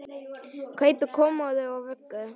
Kaupi kommóðu og vöggu.